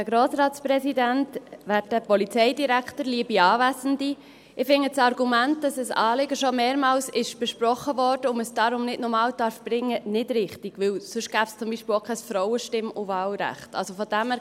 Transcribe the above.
Ich finde das Argument, dass das Anliegen schon mehrmals besprochen wurde und man es darum nicht noch einmal bringen darf, nicht richtig, weil es sonst zum Beispiel auch kein Frauenstimm- und -wahlrecht gäbe.